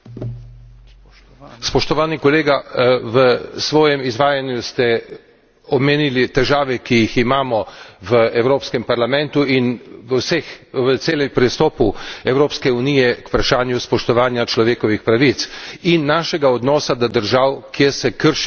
Spoštovani kolega, v svojem izvajanju ste omenili težave, ki jih imamo v Evropskem parlamentu in v celem pristopu Evropske unije k vprašanju spoštovanja človekovih pravic in našega odnosa do držav, kjer se kršijo človekove pravice.